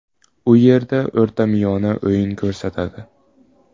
U yerda o‘rtamiyona o‘yin ko‘rsatadi.